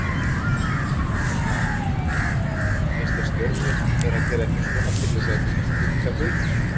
Kristján Már: Finnst þér stjórnvöld vera að gera eitthvað svona til þess að liðka fyrir?